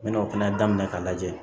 N mɛna o fɛnɛ daminɛ k'a lajɛ